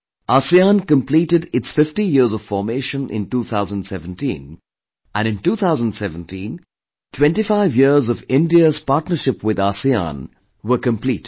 ASEAN completed its 50 years of formation in 2017 and in 2017 25 years of India's partnership with ASEAN were completed